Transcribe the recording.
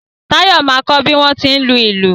Táyọ̀ máa kọ bí wọ́n tí ń lùlù